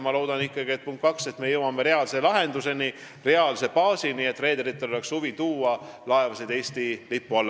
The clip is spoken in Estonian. Ma loodan ikkagi, et me jõuame reaalse lahenduseni, reaalse baasini, et reederitel oleks huvi tuua kaubalaevu Eesti lipu alla.